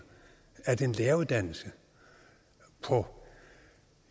at en læreruddannelse på